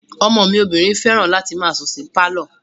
Ọmọ mi obìnrin fẹ́ràn láti máa sùn sí pálọ̀